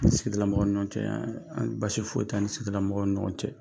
An ni sigidala mɔgɔw ni ɲɔgɔn cɛ basi foyi tɛ an ni sigidala mɔgɔw ni ɲɔgɔn cɛ.